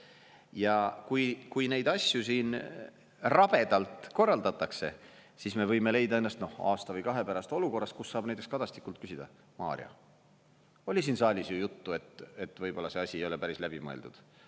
Ja kui neid asju rabedalt korraldatakse, siis me võime leida ennast aasta või kahe pärast olukorras, kus saab näiteks Kadastikult küsida: Mario, oli siin saalis ju juttu, et võib-olla see asi ei ole päris läbi mõeldud.